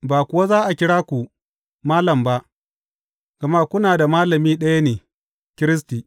Ba kuwa za a kira ku malam’ ba, gama kuna da Malami ɗaya ne, Kiristi.